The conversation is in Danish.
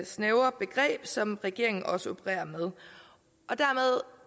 snævre begreb som regeringen også opererer med og dermed